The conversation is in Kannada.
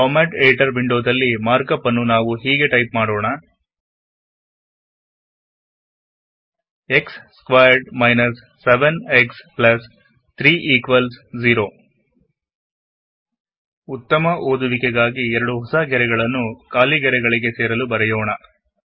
ಫಾರ್ಮಾಟ್ ಎಡಿಟರ್ ವೊಂಡೋದಲ್ಲಿ ಮಾರ್ಕ್ ಅಪ್ ನ್ನು ನಾವು ಹೀಗೆ ಟೈಪ್ ಮಾಡೋಣ x squared minus 7 x plus 30ಎಕ್ಸ್ ಸ್ಕ್ವೇರ್ಡ್ - 7ಎಕ್ಸ್30 ಉತ್ತಮ ಓದುವಿಕೆಗಾಗಿ ಎರಡು ಖಾಲಿ ಗೆರೆಗಳನ್ನು ನಾವು ಈಗ ಬರೆಯೋಣ